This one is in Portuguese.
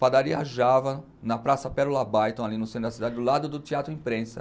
Padaria Java, na Praça Pérola Baiton, ali no centro da cidade, do lado do Teatro Imprensa.